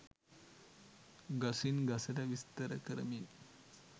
ගසින් ගසට විස්තර කරමින්